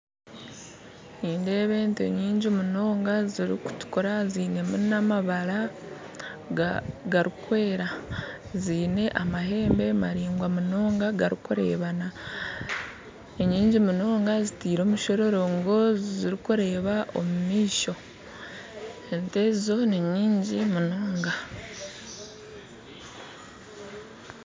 Nindeeba ente nyingi munonga zirukutukura zinemu namabara garukwera ziine amahembe maringwa munonga garukurebana. Enyingi munonga ziteire omushororongo zirukureeba omu maisho. Ente ezo ninyingi munonga